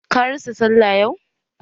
Ka rasa sallah yau?